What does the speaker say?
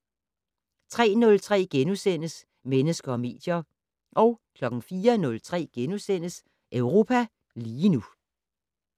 03:03: Mennesker og medier * 04:03: Europa lige nu *